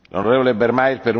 Herr Präsident!